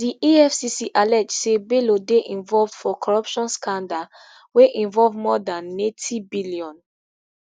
di efcc allege say bello dey involved for corruption scandal wey involve more dan neighty billion